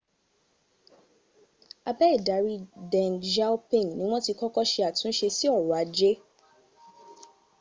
abe idari deng xiaoping ni wọn ti kọ́kọ́ sẹ àtúnsẹ sí ọrọ̀ ajẹ́